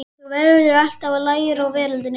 Þú verður alltaf að læra í veröldinni.